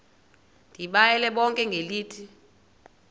ndibayale bonke ngelithi